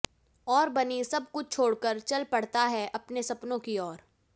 और बनी सब कुछ छोड़कर चल पड़ता है अपने सपनों की ओर